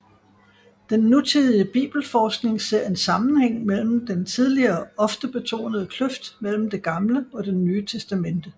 Den nutidige bibelforskning ser en sammenhæng mellem den tidligere ofte betonede kløft mellem Det Gamle og Det Nye Testamente